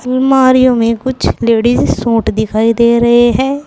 अलमारियों में कुछ लेडिस सूट दिखाई दे रहे हैं।